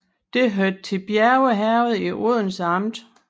Det hørte til Bjerge Herred i Odense Amt